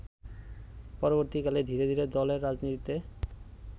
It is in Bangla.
পরবর্তীকালে ধীরে ধীরে দলের রাজনীতিতে